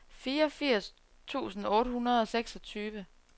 fireogfirs tusind otte hundrede og seksogtyve